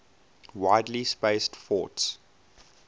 widely spaced forts